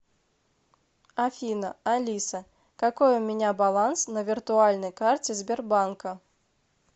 афина алиса какой у меня баланс на виртуальной карте сбербанка